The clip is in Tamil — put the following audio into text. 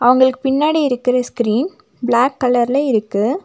அவங்களுக்கு பின்னாடி இருக்கற ஸ்கிரீன் பிளாக் கலர்ல இருக்கு.